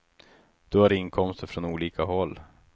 Du har inkomster från olika håll.